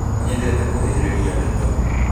Nĩ nyendete kũhĩhĩrĩria ndeto